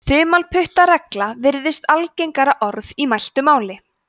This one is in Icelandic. þumalputtaregla virðist algengara orð í mæltu máli